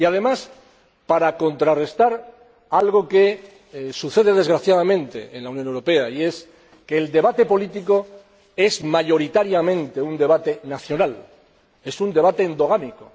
Además, para contrarrestar algo que sucede desgraciadamente en la Unión Europea, como es que el debate político sea, mayoritariamente, un debate nacional, un debate endogámico.